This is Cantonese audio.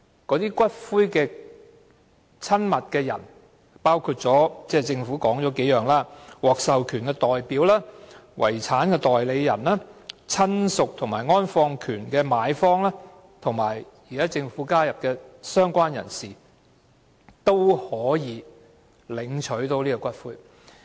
這時，與死者關係親密的人，包括政府所指的：獲授權代表、遺產代理人、親屬和安放權的買方，以及政府新加入的"相關人士"，均可要求領取骨灰。